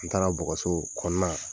N taara bɔgɔso kɔna